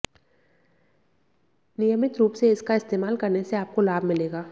नियमित रुप से इसका इस्तेमाल करने से आपको लाभ मिलेगा